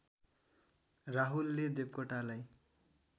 राहुलले देवकोटालाई